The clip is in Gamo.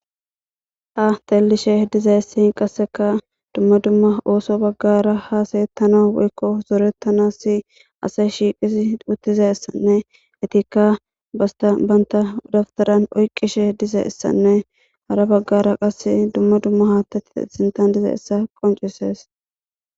Ha telishe diza essi qasseka dumma dumma ooso baggara haseyettana weykko zoretanassi asa shiiqisi uttize issanne etikka basta banta udaftaran oyqishe diza issanne hara baggara qase dumma dumma haattati esintan diza issa qoncises.